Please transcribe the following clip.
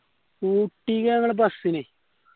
ഊട്ടിക്ക് ഞങ്ങൾ bus ന്